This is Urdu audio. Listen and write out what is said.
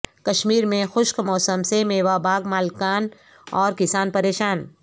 کشمیر میں خشک موسم سے میوہ باغ مالکان اور کسان پریشان